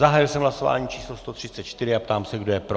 Zahájil jsem hlasování číslo 134 a ptám se, kdo je pro.